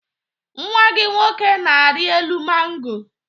Nnwa gị nwoke na-arị elu mango.